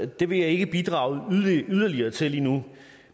det vil jeg ikke bidrage yderligere til lige nu jeg